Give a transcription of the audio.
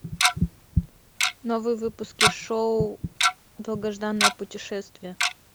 новые выпуски шоу долгожданное путешествие